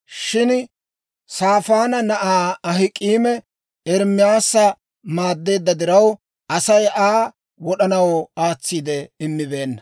Shin Saafaana na'aa Ahik'aami Ermaasa maaddeedda diraw, Asay Aa wod'anaw aatsiide immibeenna.